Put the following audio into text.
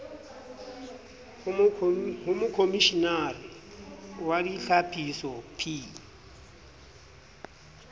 ho mokomishenare wa ditlhapiso p